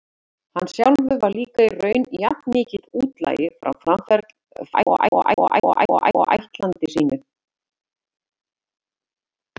Hann sjálfur var líka í raun jafnmikill útlagi frá framaferli sínum og ættlandi sínu.